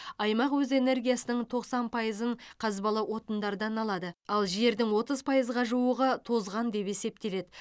аймақ өз энергиясының тоқсан пайызын қазбалы отындардан алады ал жердің отыз пайызға жуығы тозған деп есептеледі